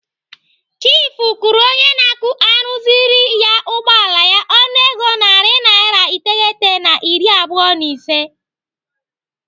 Chiifu kwụrụ onye na-arụziri ya ụgbọala ya ọnụego narị naira iteghete na iri abụọ na ise.